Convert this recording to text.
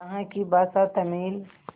यहाँ की भाषा तमिल